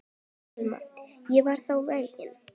Telma: Og varst þú feginn?